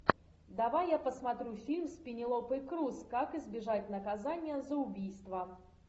давай я посмотрю фильм с пенелопой крус как избежать наказания за убийство